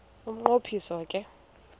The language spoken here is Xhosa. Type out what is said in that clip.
umnqo phiso ke